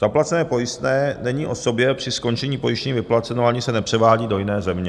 Zaplacené pojistné není osobě při skončení pojištění vyplaceno ani se nepřevádí do jiné země.